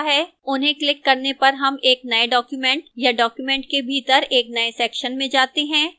उन्हें क्लिक करने पर हम एक नए document या document के भीतर एक नए section में जाते हैं